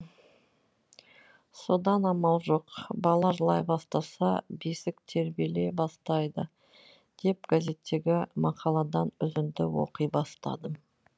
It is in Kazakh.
содан амал жоқ бала жылай бастаса бесік тербеле бастайды деп газеттегі мақаладан үзінді оқи бастадым